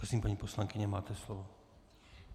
Prosím, paní poslankyně, máte slovo.